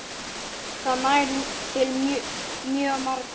Það nær til mjög margra.